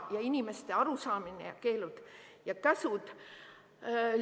Inimeste arusaamine ja keelud-käsud.